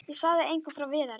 Ég sagði engum frá Viðari.